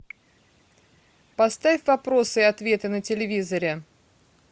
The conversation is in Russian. поставь вопросы и ответы на телевизоре